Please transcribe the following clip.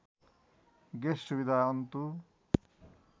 guest सुविधा अन्तु